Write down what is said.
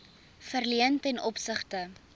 verleen ten opsigte